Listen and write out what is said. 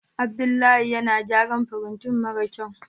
Abdullahi yana gyara firintan mara kyau.